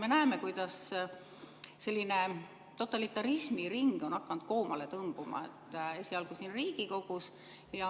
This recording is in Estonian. Me näeme, kuidas totalitarismi ring on hakanud koomale tõmbuma, esialgu siin Riigikogus.